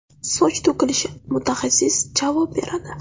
Soch to‘kilishi – mutaxassis javob beradi.